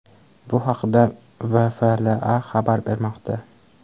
Bu haqda WFLA xabar bermoqda .